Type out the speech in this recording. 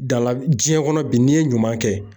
diɲɛ kɔnɔ bi n'i ye ɲuman kɛ